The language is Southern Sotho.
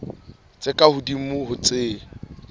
tse ka hodimo ho tse